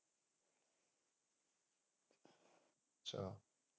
ਅੱਛਾ।